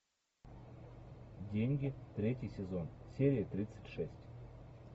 деньги третий сезон серия тридцать шесть